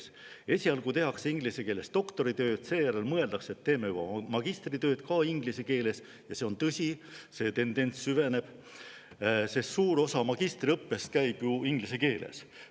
Esialgu tehakse inglise keeles doktoritööd, seejärel mõeldakse, et teeme juba magistritööd ka inglise keeles, sest suur osa magistriõppest käib ju inglise keeles.